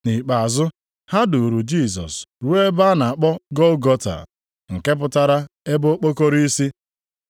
Nʼikpeazụ, ha duuru Jisọs ruo ebe a na-akpọ Gọlgọta (nke pụtara “ebe okpokoro isi”).